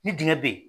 Ni dingɛn be yen